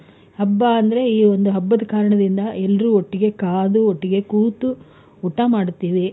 ಹಬ್ಬ ಅಂದ್ರೆ, ಈ ಒಂದ್ ಹಬ್ಬದ ಕಾರಣದಿಂದ ಎಲ್ರು ಒಟ್ಟಿಗೆ ಕಾದು ಒಟ್ಟಿಗೆ ಕೂತು ಊಟ ಮಾಡ್ತೀವಿ.